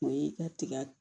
O y'i ka tiga